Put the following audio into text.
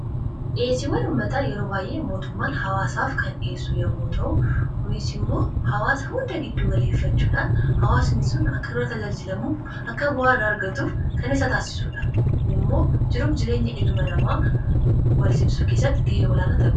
Dhiyeesiwwan ummataa yeroo baay'ee mootummaan hawaasaaf kan dhiyeessu yommuu ta'u. Kunis immoo hawwaasa hunda giddu galeeffachuudhaan hawwaasni sun akka irraa tajaajilamuuf akka bu'aa irraa argatuuf kan isa taasisudha. Kuni ammoo jiruf jireenya ilma namaa walsimsisuu keessatti ga'ee olaanaa taphata.